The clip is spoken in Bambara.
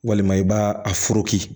Walima i b'a a foroki